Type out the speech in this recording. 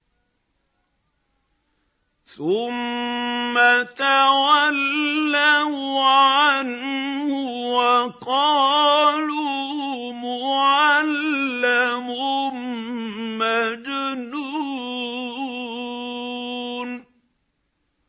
ثُمَّ تَوَلَّوْا عَنْهُ وَقَالُوا مُعَلَّمٌ مَّجْنُونٌ